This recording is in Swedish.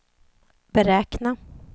beräkna